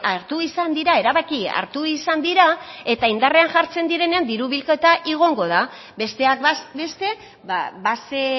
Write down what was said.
hartu izan dira erabaki hartu izan dira eta indarrean jartzen direnean diru bilketa igoko da besteak beste base